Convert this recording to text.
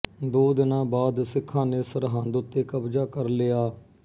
ਦੋ ਦਿਨਾਂ ਬਾਅਦ ਸਿੱਖਾਂ ਨੇ ਸਰਹਿੰਦ ਉੱਤੇ ਕਬਜ਼ਾ ਕਰ ਲਿਆ